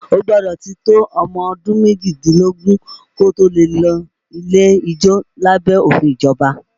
O gbọ́dọ̀ ti tó ọmọ ọdún méjìdínlógún kí o tó lè lọ ilé ijó lábẹ́ òfin ìjọba